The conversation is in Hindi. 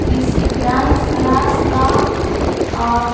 किसी डांस क्लास का और--